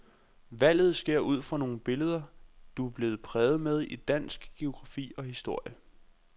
Valget sker ud fra nogle billeder, du er blevet præget med i dansk, geografi og historie.